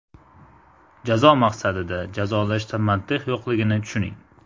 Jazo maqsadida jazolashda mantiq yo‘qligini tushuning.